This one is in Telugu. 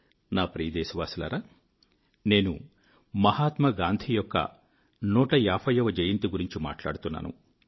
నా ప్రియదేశవాసులారా నేను మహాత్మాగాంధీ యొక్క 150 వ జయంతి గురించి మాట్లాడుతున్నాను